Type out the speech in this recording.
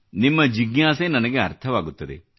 ನಿಮ್ಮ ಜಿಜ್ಞಾಸೆ ನನಗೆ ಅರ್ಥವಾಗುತ್ತದೆ